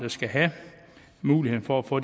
skal have muligheden for at få